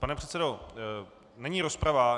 Pane předsedo, není rozprava.